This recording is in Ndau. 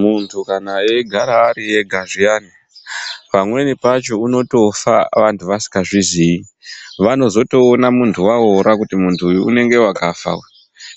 Muntu kana eigara ariega zviyani pamweni pacho unotofa vantu vasingazvizivi vanozotoona muntu awora kuti muntu uyu unenge wakafa